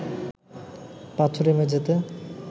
পাথুরে মেঝেতে